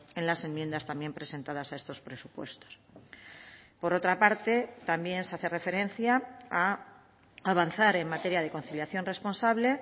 en las enmiendas también presentadas a estos presupuestos por otra parte también se hace referencia a avanzar en materia de conciliación responsable